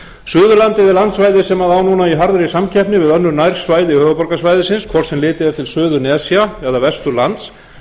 suðurlandið er landsvæði sem á núna í harðri samkeppni við önnur nærsvæði höfuðborgarsvæðisins hvort sem litið er til suðurnesja eða vesturlands